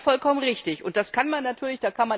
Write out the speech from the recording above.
Das ist vollkommen richtig und das kann man natürlich.